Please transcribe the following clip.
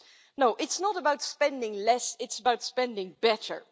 No, it's not about spending less, it's about spending better.